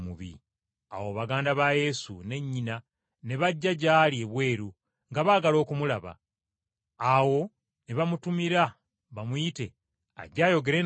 Awo baganda ba Yesu ne nnyina ne bajja gy’ali ebweru nga baagala okumulaba. Awo ne bamutumira bamuyite ajje ayogere nabo.